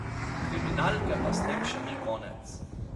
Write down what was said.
Kriminalke pa s tem še ni konec.